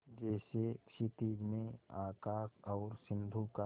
जैसे क्षितिज में आकाश और सिंधु का